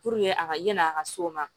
a ka yanni a ka se o ma